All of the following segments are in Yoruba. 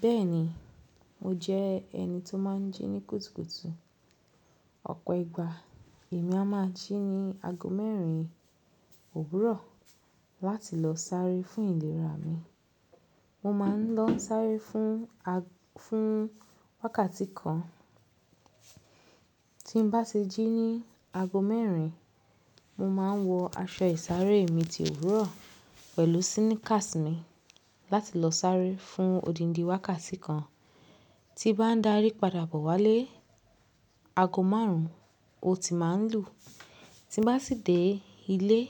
Bẹ́ẹ̀ni, mo jẹ́ ẹni tó máa ń jí ní kùtùkùtù. Ọ̀pọ̀ ìgbà èmi a máa jí ní aago mẹ́rin òwúrọ̀ láti lọ sáré fún ìlera mi. Mo máa ń lọ sáré fún, fún wákàtí kan. Tí n bá ti jí ní aago mẹ́rin, mo máa ń wọ aṣọ ìsáré mi ti òwúrọ̀ pẹ̀lú sneakers ni láti lọ sáré fún odindi wákàtí kan. Tí bá ń darí padà bọ́ wálé, aago márùn-ún, ó ti máa ń lù. Tí n bá sì dé ilé,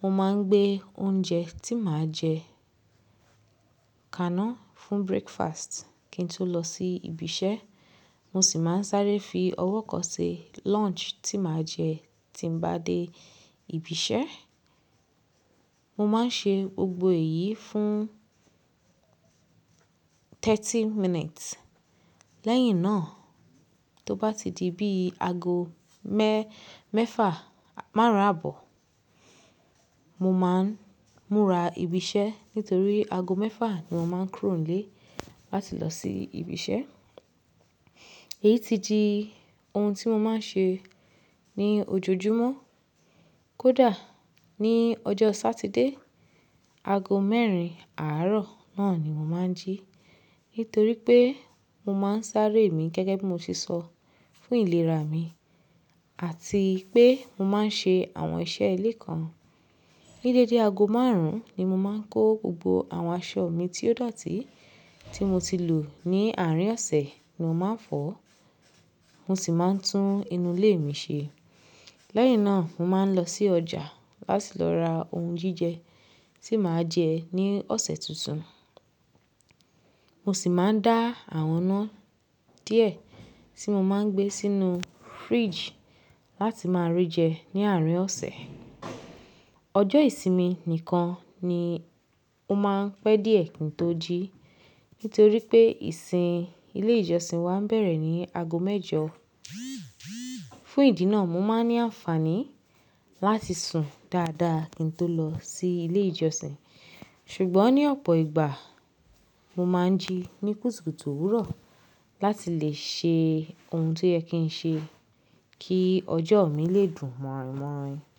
mo máa ń gbé oúnjẹ tí màá jẹ kàná fún breakfast kí n tó lọ sí ibi iṣẹ́. Mo sì máa ń sáré fi ọwọ́ kan se lunch tí màá jẹ tí n ba dé ibi iṣẹ́. Mo máa ń ṣe gbogbo èyí fún thirty minutes. Lẹ́yìn náà, tó bá ti di bí i ago mẹ́, mẹ́fà, márùn-ún àbọ̀, mo máa ń múra ibi iṣẹ́ nítorí aago mẹ́fà ni mo máa ń kúrò nílé láti lọ sí ibi iṣẹ́. Èyí ti di ohun tí mo máa ń ṣe ní ojoojúmọ́. Kódà ní ọjọ́ satide, aago mẹ́rin àárọ̀ náà ni mo máa ń jí nítorí pé mo máa ń sáré mi gẹ́gẹ́ bí mo ti sọ, fún ìlera mi àti pé mo máa ń ṣe àwọn iṣẹ́ ilé kan. Gẹ́gẹ́ dé ago márùn-ún ni mo máa ń kó gbogbo àwọn aṣọ mi tí ó dọ̀tí tí mo ti lò ní àárín ọ̀sẹ̀ ni mo máa ń fọ̀. Mo sì máa ń tún inú ilé mi ṣe. Lẹ́yìn náà mo máa ń lọ sí ọjà láti lọ ra ohun jíjẹ tí màá jẹ ní ọ̀sẹ̀ tuntun. Mo sì máa ń dá àwọn ina díẹ̀ tí mo máa ń gbé sínú fridge láti máa rí jẹ ní àárín ọ̀sẹ̀. Ọjọ́ ìsinmi nìkan ni mo máa ń pẹ́ díẹ̀ kí n tó jí nítorí pé ìsìn ilé ìjọsìn wa ń bẹ̀rẹ̀ ní aago mẹ́jọ. Fún ìdí náà mo máa ń ní àǹfààní láti sùn dáadáa kí n tó lọ sí ilé ìjọsìn. Ṣùgbọ́n ní ọ̀pọ̀ ìgbà mo máa ń jí ní kùtùkùtù òwúrọ̀ láti lè ṣe ohun tí o ye kin ṣe kí ọjọ́ mi lè dùn mọ́ranyin mọ́ranyin.